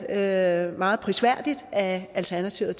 er meget prisværdigt at alternativet